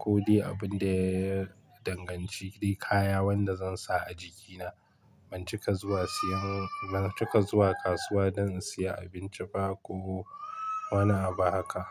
ko dai abin da ya danganci kaya wanda zan sa a jikina. Ban cika zuwa kasuwa don in siya abinci ba ko wani abu haka.